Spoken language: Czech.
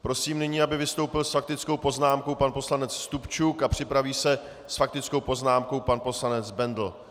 Prosím nyní, aby vystoupil s faktickou poznámkou pan poslanec Stupčuk a připraví se s faktickou poznámkou pan poslanec Bendl.